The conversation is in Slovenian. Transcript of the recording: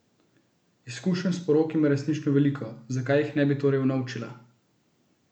Izkušenj s porok ima resnično veliko, zakaj jih ne bi torej unovčila!